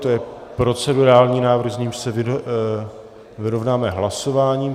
To je procedurální návrh, s nímž se vyrovnáme hlasováním.